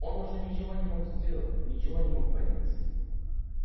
он уже ничего не мог сделать ничего не мог понять